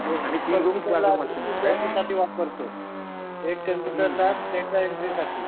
आम्ही वापरतो एक कॉम्पुटर लॅब डेटा एन्ट्रीसाठी